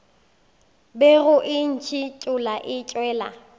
bego e ntšhithola e tšwela